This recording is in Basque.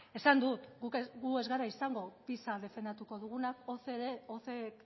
esan dut gu ez gara izango pisa defendatuko dugunak